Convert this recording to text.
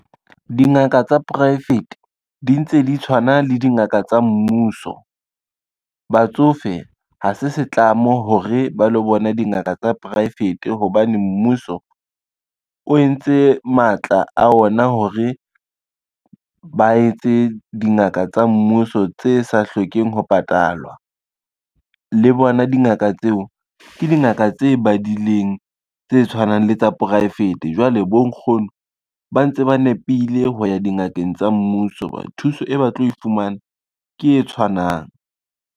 Dingaka tsa poraefete di ntse di tshwana le dingaka tsa mmuso. Batsofe ha se setlamo hore ba lo bona dingaka tsa poraefete hobane mmuso, o entse matla a ona hore ba etse dingaka tsa mmuso tse sa hlokeng ho patalwa. Le bona dingaka tseo ke dingaka tse badileng tse tshwanang le tsa poraefete, jwale bonkgono ba ntse ba nepile ho ya dingakeng tsa mmuso hobane thuso e ba tlo e fumana, ke e tshwanang.